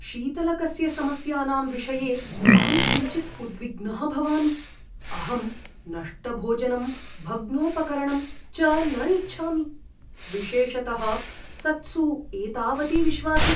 शीतलकस्य समस्यानां विषये अहं किञ्चित् उद्विग्नः भवामि, अहं नष्टभोजनं भग्नोपकरणं च न इच्छामि, विशेषतः सत्सु एतावति विश्वासे।